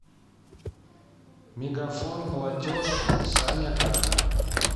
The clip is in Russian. мегафон платеж саня к